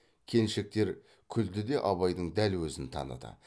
келіншектер күлді де абайдың дәл өзін таныды